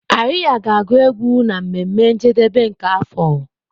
Arya ga-agu égwù na mmeme njedebe nke afọ.